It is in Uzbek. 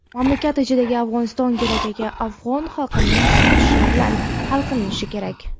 mamlakat ichidagi Afg‘oniston kelajagi afg‘on xalqining xohishi bilan hal qilinishi kerak.